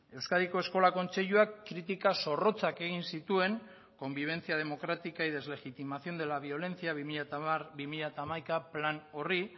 euskadiko eskola kontseiluak kritika zorrotzak egin zituen convivencia democrática y deslegitimación de la violencia bi mila hamar bi mila hamaika plan horri